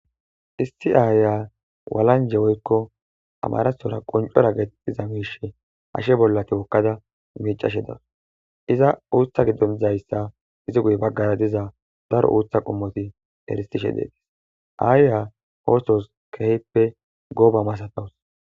Issi ayiya walanje woyko amarathora qonchora giza wazi oyka eqada miccashe dawus eza utha gidon dizaysa ezi guye bagara diza daro uutha qomoti eretishe des ayiya othos kehipe goba masatawus